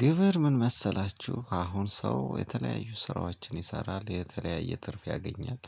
ግብር ምን መሰላችሁ አሁን ሰው የተለያዩ ስራዎችን ይሰራል የተለያየ ትርፍ ያገኛል።